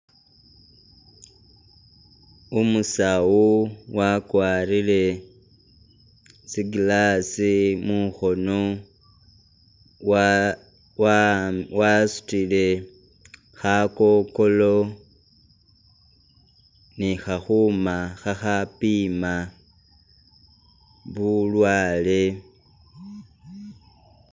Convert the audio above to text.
Umusawo wakwarile tsi'glass mukhono wa wa'abi wasutile khakokolo nikhakhuma khakhapima bulwale